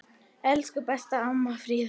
Elsku besta amma Fríða.